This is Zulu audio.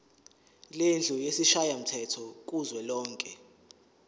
lendlu yesishayamthetho kuzwelonke